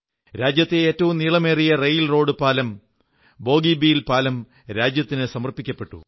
രാജ്യത്തെ ഏറ്റവും നീളമേറിയ റെയിൽറോഡ് പാലം ബോഗീബീൽ പാലം രാജ്യത്തിന് സമർപ്പിച്ചു